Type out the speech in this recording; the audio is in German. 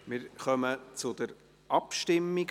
Wir kommen zu den Abstimmungen.